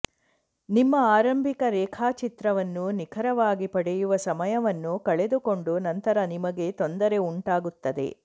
ನಿಮ್ಮ ಆರಂಭಿಕ ರೇಖಾಚಿತ್ರವನ್ನು ನಿಖರವಾಗಿ ಪಡೆಯುವ ಸಮಯವನ್ನು ಕಳೆದುಕೊಂಡು ನಂತರ ನಿಮಗೆ ತೊಂದರೆ ಉಂಟಾಗುತ್ತದೆ